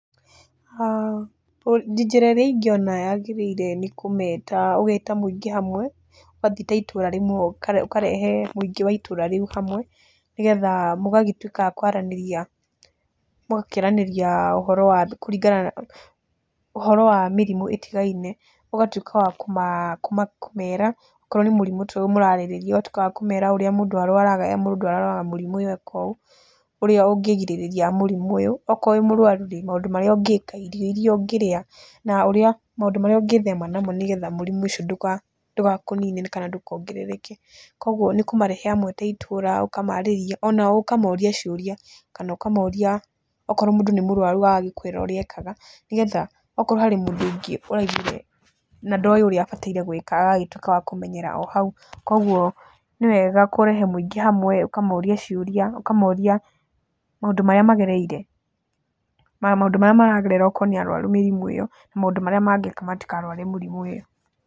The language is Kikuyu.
Njĩra ĩrĩa ĩngĩona yagĩrĩire nĩ kũmeta, ũgeta mũingĩ hamwe, ũgathiĩ ta itũũra rĩmwe ũkarehe mũingĩ wa itũũra rĩu hamwe nĩgetha mũgagĩtuĩka a kwaranĩria. Mũgakĩaranĩria ũhoro wa kũringana na, ũhoro wa mĩrimu ĩtigaine ũgatuĩka wa kũma kũmera, okorwo nĩ mũrimũ ta ũyũ mũrarĩrĩrĩa ũgatuĩka wa kũmera ũrĩa mũndũ arwaraga, mũndũ arwaraga mũrimũ ũyũ eka ũũ, ũrĩa ũngĩrigĩrĩria mũrimũ ũyũ, okorwo wĩ mũrwaru-rĩ, maũndũ marĩa ũngĩka, irio iria ũngĩrĩa na ũrĩa, maũndũ marĩa ũngĩthema namo nĩgetha mũrimũ ũcio ndũgakũnine kana ndũkongerereke. Kwogwo nĩ kũmarehe hamwe ta itũũra ũkamarĩria, onao ũkamoria ciũria, kana ũkamoria ongorwo mũndũ nĩ mũrwaru agagĩkũĩra ũrĩa ekaga nĩgetha, okorwo harĩ mũndũ ũngĩ ũraiguire, na ndoĩ ũrĩa abataire gwĩka agagĩtuĩka wa kũmenyera oro hau. Kwogwo nĩ wega kũrehe mũingĩ hamwe ũkamoria ciũria, ũkamoria maũndũ marĩa magereire, maũndũ marĩa maragerera okorwo nĩ arwaru mĩrimũ ĩyo na maũndũ marĩa mangĩka matikarware mũrimũ ĩyo.